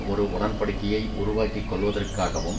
ஒரு உடன்படிக்கையை உருவாக்கி கொள்வதற்காகவும்